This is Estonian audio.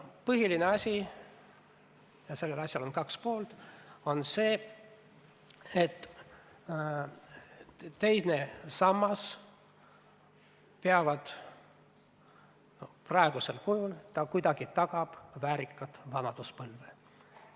Põhiline asi, ja sellel asjal on kaks poolt, on see, et teine sammas aitab praegusel kujul kuidagi tagada väärikat vanaduspõlve.